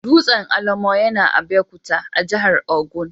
Dutsen Olumo yana Abeokuta, a jihar Ogun.